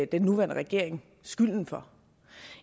den nuværende regering skylden for